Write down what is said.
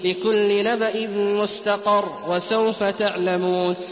لِّكُلِّ نَبَإٍ مُّسْتَقَرٌّ ۚ وَسَوْفَ تَعْلَمُونَ